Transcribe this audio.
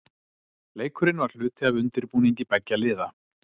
Leikurinn var hluti af undirbúningi beggja liða.